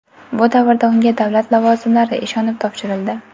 Bu davrda unga davlat lavozimlari ishonib topshirildi.